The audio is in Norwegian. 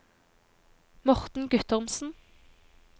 Morten Guttormsen